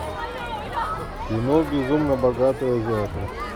кино безумно богатые азиаты